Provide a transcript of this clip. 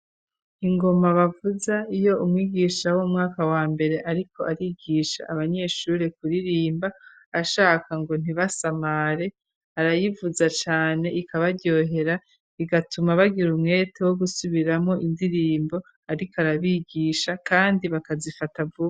Ingoma bavuza iyo umwigisha w'umwaka wa mbere ariko arigisha abanyeshure kuririmba, ashaka ngo ntibasamare, arayivuza cane ikabaryohera igatuma bagira umwete wo gusubiramwo indirimbo ariko arabigisha kandi bakazifata vuba.